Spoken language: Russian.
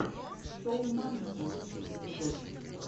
шоу мамикса лучший эпизод